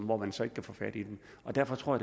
hvor man så ikke kan få fat i dem derfor tror